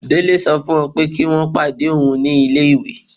Délé sọ fún wọ́n pé kí wọ́n pàdé òun ní ilé-ìwé.